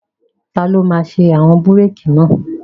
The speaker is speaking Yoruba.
Taló máa ṣe àwọn búrèkì náà?